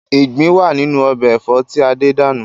Ìgbín wá nínú ọbẹ̀ Ẹ̀fọ́ tí Adé dànù.